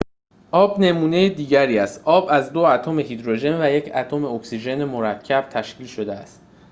آب نمونه دیگری است آب از دو اتم هیدروژن و یک اتم اکسیژن مرکب تشکیل شده است